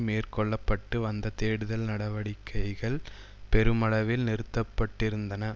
மேற்கொள்ள பட்டு வந்த தேடுதல் நடவடிக்கைகள் பெருமளவில் நிறுத்தப்பட்டிருந்தன